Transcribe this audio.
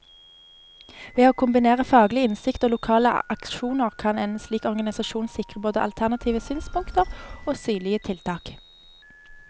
Ved å kombinere faglig innsikt og lokale aksjoner, kan en slik organisasjon sikre både alternative synspunkter og synlige tiltak.